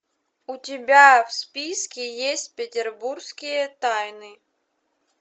у тебя в списке есть петербургские тайны